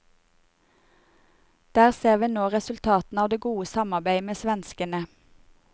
Der ser vi nå resultatene av det gode samarbeidet med svenskene.